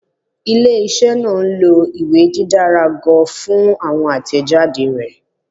Ile-iṣẹ naa nlo iwe didara ga fun awọn atẹjade rẹ